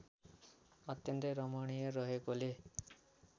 अत्यन्तै रमणीय रहेकोले